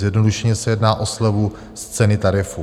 Zjednodušeně se jedná o slevu z ceny tarifu.